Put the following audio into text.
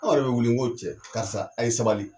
Anw yɛrɛ bɛ wuli nko cɛ karisa a' ye sabali